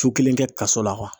Su kelen kɛ kaso la